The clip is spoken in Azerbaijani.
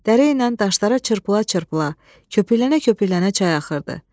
Dərəyə daşlara çırpıla-çırpıla, köpüklənə-köpüklənə çay axırdı.